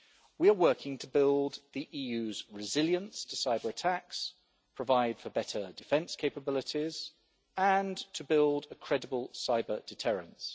We are working to build the EU's resilience to cyber-attacks, provide for better defence capabilities and to build a credible cyber-deterrence.